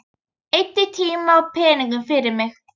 Eyddi tíma og peningum fyrir mig.